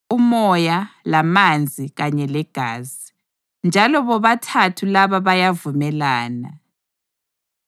uMoya, lamanzi kanye legazi; njalo bobathathu laba bayavumelana.